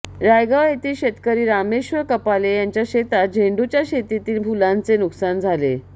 रायगाव येथील शेतकरी रामेश्वर कपाले यांच्या शेतात झेंडूच्या शेतीतील फुलांचे नुकसान झाले